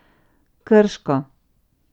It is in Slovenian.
Krško.